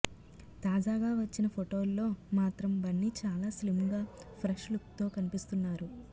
తాజాగా వచ్చిన ఫొటోల్లో మాత్రం బన్నీ చాలా స్లిమ్ గా ఫ్రెష్ లుక్ తో కనిపిస్తున్నారు